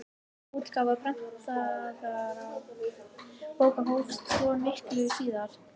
Útgáfa prentaðra bóka hófst svo miklu síðar.